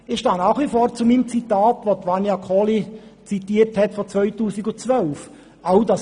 Ich stehe nach wie vor zu meiner von Vania Kohli zitierten Aussage aus dem Jahr 2013.